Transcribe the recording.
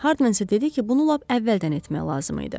Harmen isə dedi ki, bunu lap əvvəldən etmək lazım idi.